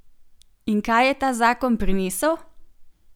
In kaj je ta zakon prinesel?